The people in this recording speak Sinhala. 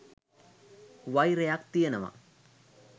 වෛරයක් තියෙනවා